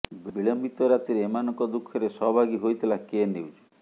ବିଳମ୍ବିତ ରାତିରେ ଏମାନଙ୍କ ଦୁଃଖରେ ସହଭାଗୀ ହୋଇଥିଲା କେ ନ୍ୟୁଜ୍